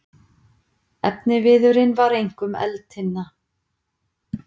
Efniviðurinn var einkum eldtinna.